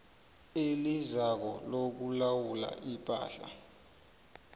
elizako lokulawula ipahla